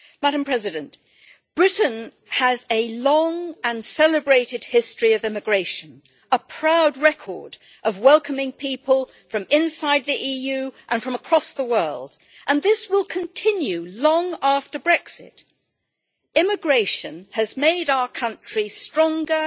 Madam President, Britain has a long and celebrated history of immigration, a proud record of welcoming people from inside the EU and from across the world, and this will continue long after Brexit. Immigration has made our country stronger,